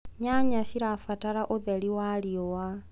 nyanya cirabatara ũtheri wa riũa